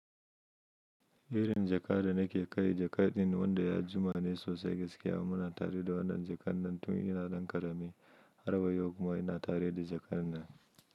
Irin jaka da nake kai, jakar din wanda ya jima ne sosai gaskiya. Muna tare da wannan jakar nan tun ina ɗan ƙarami. Harwa yau kuma ina tare da jakar nan.